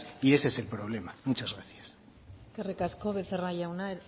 y ese es el problema muchas gracias eskerrik asko becerra jauna